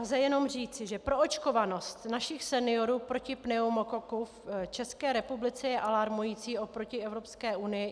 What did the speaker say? Lze jenom říci, že proočkovanost našich seniorů proti pneumokoku v České republice je alarmující oproti Evropské unii.